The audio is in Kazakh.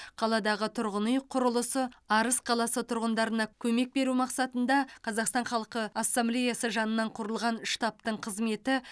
қаладағы тұрғын үй құрылысы арыс қаласы тұрғындарына көмек беру мақсатында қазақстан халқы ассамблеясы жанынан құрылған штабтың қызметі